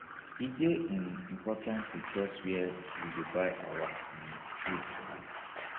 e dey um important to trust where we dey buy our um food from